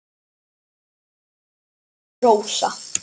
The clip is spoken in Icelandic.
Þín dóttir, Rósa.